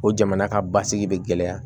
O jamana ka basigi bɛ gɛlɛya